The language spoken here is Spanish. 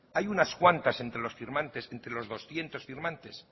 hay unas cuantas entre los firmantes entre los doscientos firmantes